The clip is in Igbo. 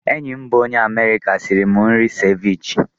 Enyi m bụ onye Amerịka sịrị m nri seviche.